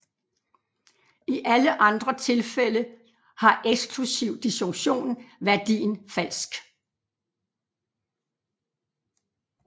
I alle andre tilfælde har eksklusiv disjunktion værdien falsk